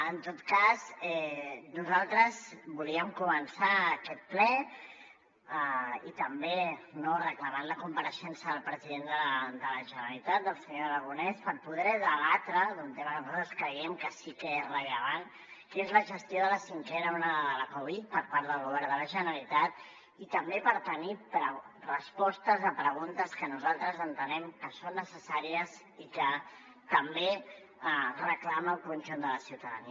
en tot cas nosaltres volíem començar aquest ple també no reclamant la compareixença del president de la generalitat el senyor aragonès per poder debatre d’un tema que nosaltres creiem que sí que és rellevant que és la gestió de la cinquena onada de la covid per part del govern de la generalitat i també per tenir respostes a preguntes que nosaltres entenem que són necessàries i que també reclama el conjunt de la ciutadania